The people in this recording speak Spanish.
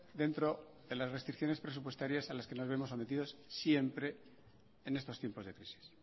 dentro de las restricciones presupuestarias a las que nos vemos sometidos siempre en estos tiempos de crisis